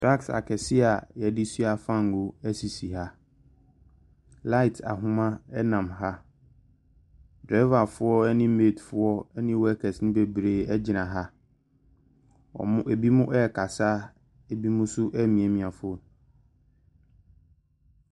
Drugs akɛseɛ yɛdi sua famngo ɛsisi ha light ahoma nam ha driverfoɔ ɛne mate ɛni workers e bebree gyina ha ebi mu kasaebi mu nso miamia fon.